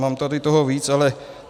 Mám toho tady víc, ale...